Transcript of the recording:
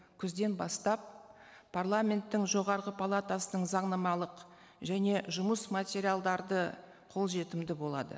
күзден бастап парламенттің жоғарғы палатасының заңнамалық және жұмыс материалдарды қолжетімді болады